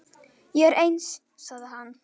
Ég er eins, sagði hann.